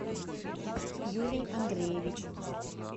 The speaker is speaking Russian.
юрий андреевич